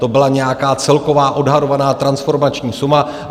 To byla nějaká celková odhadovaná transformační suma.